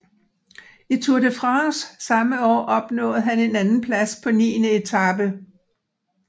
I Tour de France samme år opnåede han en andenplads på niende etape